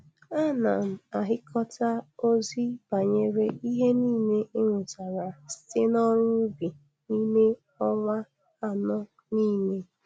Ana m axhịkọta ozi banyere ihe nile e nwetara site n'ọrụ ubi n'ịme ọnwa anọ nile.